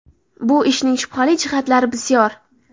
Bu ishning shubhali jihatlari bisyor.